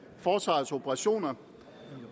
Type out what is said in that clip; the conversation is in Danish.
forsvarets operationer